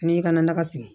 N'i ka naga sigi